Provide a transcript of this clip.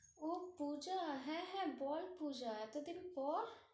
ওহ পুজা! হ্যাঁ, হ্যাঁ, বল পুজা এতোদিন পর